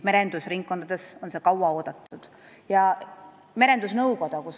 Merendusringkondades on seda kaua oodatud.